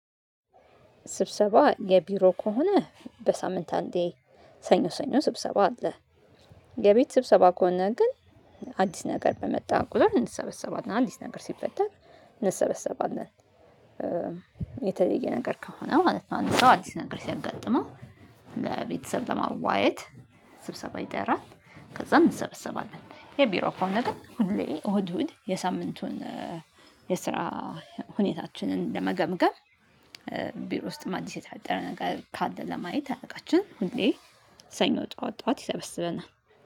ስብሰባ የቢሮ ከሆነ በሳምንት አንዴ ሰኞ ሰኞ ስብሰባ አለ። የቤት ስብሰባ ከሆነ ግን አዲስ ነገር በመጣ ቁጥር እንሰበሰባለን አዲስ ነገር ሲፈጠን እንሰበሰባለን። የተለየ ነገር ከሆነ ማለት ነው። አንድ ሰው አድስ ነገር ሲያጋጥመው ለቤተሰብ ለማዋየት ስብሰባ ይጠራል። ከዛም እንሰበሰባለን። የቢሮ ከሆነ ግን ሁሌ እሁድ እሁድ የሳምንቱን የስራ ሁኔታችንን ለመገምገም ቢሮ ውስጥም አዲስ የተፈጠረ ነገር ካለ ለማየት አለቃችን ሁሌ ሰኞ ጠዋት ጠዋት ይሰበስብናል